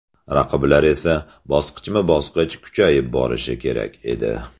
Raqiblar esa bosqichma-bosqich kuchayib borishi kerak edi.